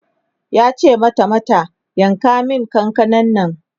yace mata mata "yanka min kakanan Nan!''